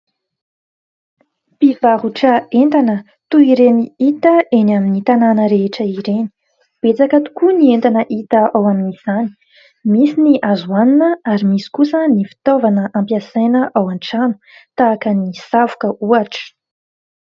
Mpivarotra entana toy ireny hita eny amin'ny tanàna rehetra ireny. Betsaka tokoa ny entana hita ao amin'izany. Misy ny azo hoanina ary misy kosa ny fitaovana ampiasaina ao an-trano, tahaka ny savoka ohatra.